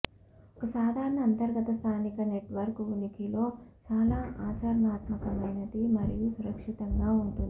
ఒక సాధారణ అంతర్గత స్థానిక నెట్వర్క్ ఉనికిలో చాలా ఆచరణాత్మకమైనది మరియు సురక్షితంగా ఉంటుంది